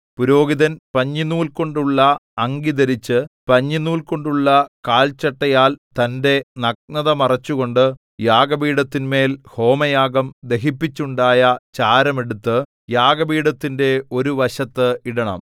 പുരോഹിതൻ പഞ്ഞിനൂൽ കൊണ്ടുള്ള അങ്കി ധരിച്ച് പഞ്ഞിനൂൽ കൊണ്ടുള്ള കാൽ ചട്ടയാൽ തന്റെ നഗ്നത മറച്ചുകൊണ്ട് യാഗപീഠത്തിന്മേൽ ഹോമയാഗം ദഹിപ്പിച്ചുണ്ടായ ചാരം എടുത്ത് യാഗപീഠത്തിന്റെ ഒരു വശത്ത് ഇടണം